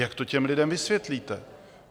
Jak to těm lidem vysvětlíte?